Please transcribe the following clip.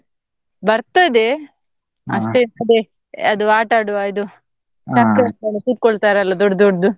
ಬರ್ತದೆ ಇರ್ತದೆ ಅದು ಆಟಾಡುವ ಇದು ಕುತ್ಕೊಳ್ತರಲ್ಲ ದೊಡ್ ದೊಡ್ಡದು.